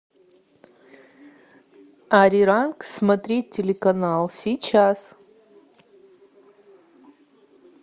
ариран смотреть телеканал сейчас